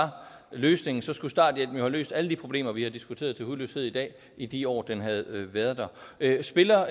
løsningen skulle starthjælpen jo have løst alle de problemer vi har diskuteret til hudløshed i dag i de år den havde været der spiller